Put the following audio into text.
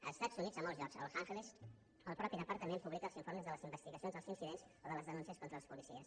als estats units a molts llocs a los ángeles el mateix departament pu·blica els informes de les investigacions dels incidents o de les denúncies contra els policies